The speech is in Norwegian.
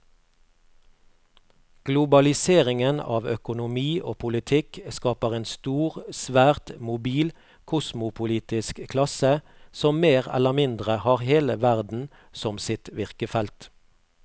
Globaliseringen av økonomi og politikk skaper en stor, svært mobil kosmopolitisk klasse som mer eller mindre har hele verden som sitt virkefelt.